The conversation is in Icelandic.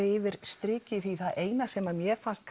yfir strikið það eina sem mér fannst